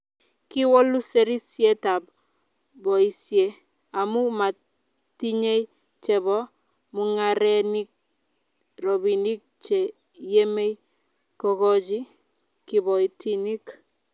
kiwolu serisietab boisie amu matinyei chebo mung'arenik robinik che yemei kokochi kiboitinik